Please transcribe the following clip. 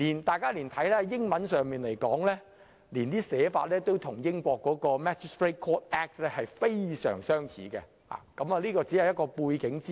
大家可以留意到英文文本亦與英國的 Magistrates' Courts Act 非常相似，而這是一些背景資料。